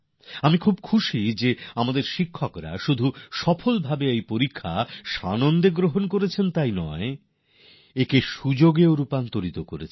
আমার আনন্দ হচ্ছে যে আমাদের শিক্ষকরা কেবল সেই চ্যালেঞ্জকে স্বীকারই করেননি বরং তাকে সুযোগে বদলে নিয়েছেন